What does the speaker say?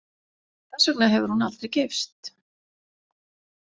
Þess vegna hefur hún aldrei gifst.